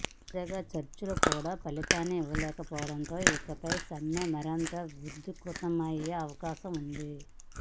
తాజా చర్చలు కూడా ఫలితాన్ని ఇవ్వకపోవడంతో ఇకపై సమ్మె మరింత ఉధృతమయ్యే అవకాశం ఉంది